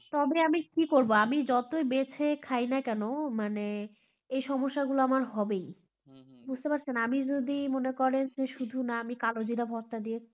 তবে আমি কি করব আমি যত বেছে খাই না কেন মানে এ সমস্যাগুলা আমার হবে বুঝতে পারছেন আমি যদি মনে করে যে শুধু না আমি কালো জিরা ভর্তা দিয়ে